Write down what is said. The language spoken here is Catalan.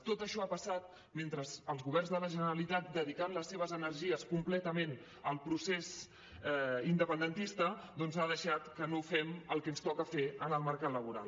tot això ha passat mentre els governs de la generalitat dedicant les seves energies completament al procés independentista doncs han deixat que no fem el que ens toca fer en el mercat laboral